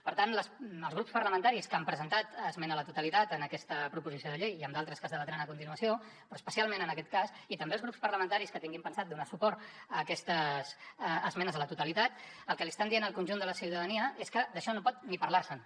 per tant els grups parlamentaris que han presentat esmena a la totalitat en aquesta proposició de llei i en d’altres que es debatran a continuació però especialment en aquest cas i també els grups parlamentaris que tinguin pensat donar suport a aquestes esmenes a la totalitat el que li estan dient al conjunt de la ciutadania és que d’això no pot ni parlar se’n